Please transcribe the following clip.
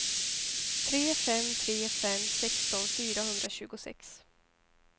tre fem tre fem sexton fyrahundratjugosex